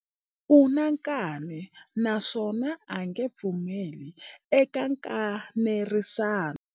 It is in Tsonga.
U na nkani naswona a nge pfumeli eka nkanerisano.